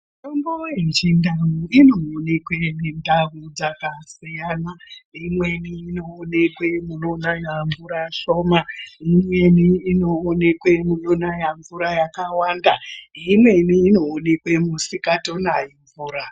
Mitombo yechindau inoonekwe mundau dzakasiyana, imweni inoonekwe munonaya mvura shona, imweni inoonekwa munonaya mvura yakawanda, imweni inooneke musikatonayi mvura.